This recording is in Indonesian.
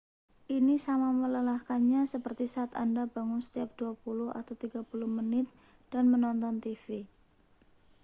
ini sama melelahkannya seperti saat anda bangun setiap dua puluh atau tiga puluh menit dan menonton tv